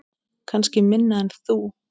Kannski minna en þú.